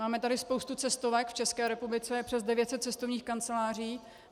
Máme tady spoustu cestovek, v České republice je přes 900 cestovních kanceláří.